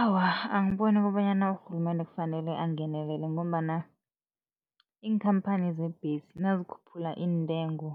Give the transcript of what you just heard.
Awa, angiboni kobanyana urhulumende kufanele angenelele ngombana iinkhamphani zembhesi nazikhuphula iintengo,